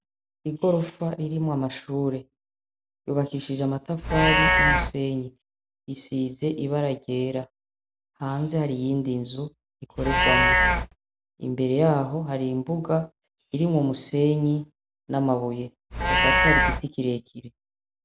Igorofa ririmwo amashure ryubakishije amatafari numusenyi risize ibara ryera hanze hari iyindi nzu bikorerwamwo imbere yaho hari imbuga irimwo umusenyi namabuye hagati hari igiti kirekire